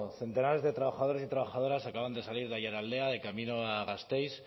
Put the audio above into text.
centenares de trabajadores y trabajadoras acaban de salir de aiaraldea de camino a gasteiz